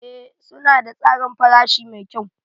Ee suna da tsarin farashi mai kyau.